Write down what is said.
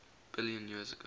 billion years ago